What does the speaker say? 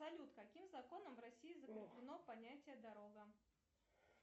салют каким законом в россии закреплено понятие дорога